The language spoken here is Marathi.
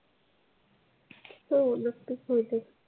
हो नक्कीच होतील.